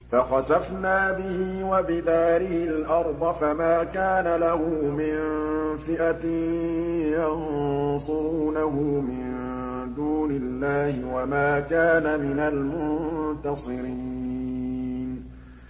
فَخَسَفْنَا بِهِ وَبِدَارِهِ الْأَرْضَ فَمَا كَانَ لَهُ مِن فِئَةٍ يَنصُرُونَهُ مِن دُونِ اللَّهِ وَمَا كَانَ مِنَ الْمُنتَصِرِينَ